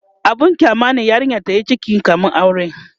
abun kyama ne yarinya tayi ciki kamin aure